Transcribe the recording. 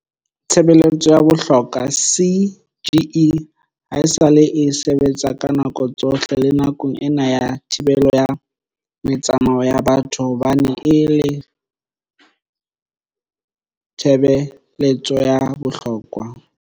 Tshebeletso ya bohlokwa CGE haesale e sebetsa ka nako tsohle le nakong ena ya thibelo ya metsamao ya batho hobane e le tshebe letso ya bohlokwa.